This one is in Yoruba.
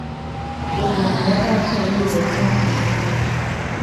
lobìnrin yẹn bá ṣòye ẹ̀ fún un